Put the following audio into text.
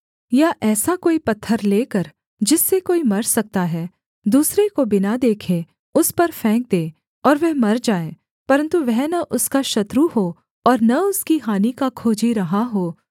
या ऐसा कोई पत्थर लेकर जिससे कोई मर सकता है दूसरे को बिना देखे उस पर फेंक दे और वह मर जाए परन्तु वह न उसका शत्रु हो और न उसकी हानि का खोजी रहा हो